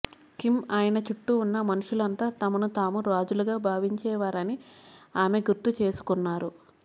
Kim ఆయన చుట్టూ ఉన్న మనుషులంతా తమను తాము రాజులుగా భావించేవారని ఆమె గుర్తుచేసుకొన్నారు